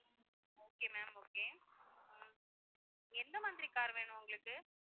okay ma'am okay hmm எந்த மாதிரி car வேணும் உங்களுக்கு?